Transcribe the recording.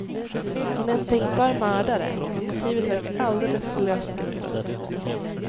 Hon är en tänkbar mördare, men motivet verkar alldeles för löst grundat.